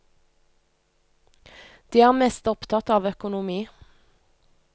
De er mest opptatt av økonomi.